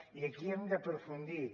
i aquí hem d’aprofundir